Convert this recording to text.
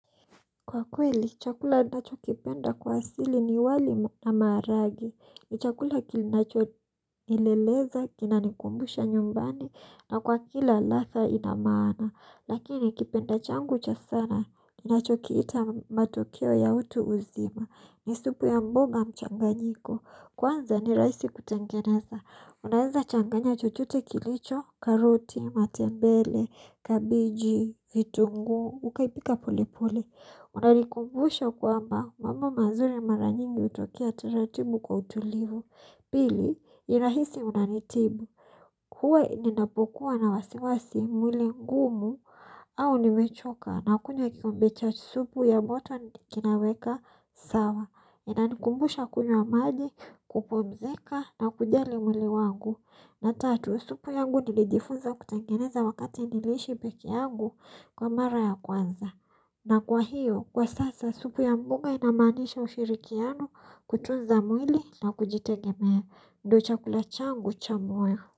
Kwa kweli, chakula ninachokipenda kwa asili ni wali na maharagwe. Ni chakula kinachonileleza, kinanikumbusha nyumbani, na kwa kila ladha ina maana. Lakini, ni kipenda changu cha sana, ninachokiita matokeo ya utu uzima. Ni supu ya mboga mchanganyiko. Kwanza ni rahisi kutengeneza. Unaweza changanya chochote kilicho karoti, matembele, kabiji, vitungu, ukaipika pole pole. Unanikumbusha kwamba mambo mazuri mara nyingi hutokea taratibu kwa utulivu. Pili, ni rahisi unanitibu. Huwa ninapokuwa na wasiwasi mwili ngumu au nimechoka na kunywa kikombe cha supu ya moto kinaweka sawa. Inani kumbusha kunywa maji kupumzika na kujali mwili wangu. Na tatu, supu yangu nilijifunza kutengeneza wakati niliishi peke yangu kwa mara ya kwanza. Na kwa hiyo, kwa sasa, supu ya mboga inamaanisha ushirikiano kutunza mwili na kujitegemea. Ndio chakula changu cha muhimu.